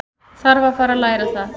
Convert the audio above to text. Þarf að fara að læra það.